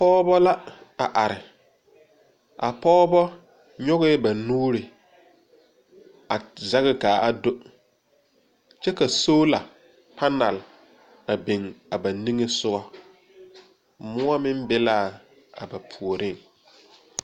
Pɔgebo la a are, a pɔgebo nyɔgeɛɛ ba nuure a zaŋ ka a do, kyɛ ka solar panel a biŋ a ba niŋe soge, moɔ meŋ be la a ba puoriŋ.